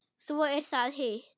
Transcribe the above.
Svo er það hitt.